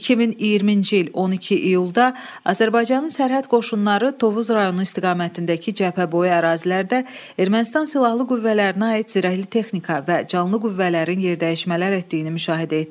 2020-ci il 12 iyulda Azərbaycanın sərhəd qoşunları Tovuz rayonu istiqamətindəki cəbhəboyu ərazilərdə Ermənistan silahlı qüvvələrinə aid zirəhli texnika və canlı qüvvələrin yerdəyişmələr etdiyini müşahidə etdi.